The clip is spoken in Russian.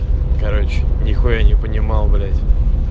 короче нехуя не понимал блять